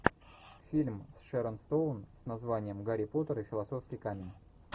фильм с шэрон стоун с названием гарри поттер и философский камень